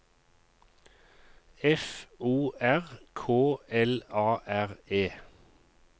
F O R K L A R E